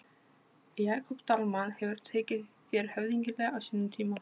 Jakob Dalmann hefur tekið þér höfðinglega á sínum tíma?